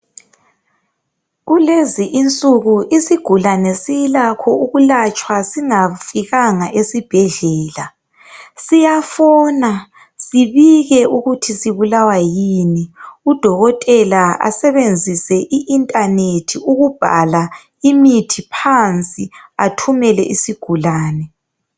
Kulezi insuku isigulane silakho ukulatshwa singafikanga esibhedlela. Siyafona sibike ukuthi sibulawa yini udokotela asebenzise iinternet ukubhala imithi phansi athumele isigulane.